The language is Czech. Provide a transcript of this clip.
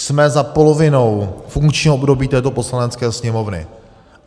Jsme za polovinou funkčního období této Poslanecké sněmovny.